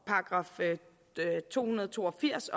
§ to hundrede og to og firs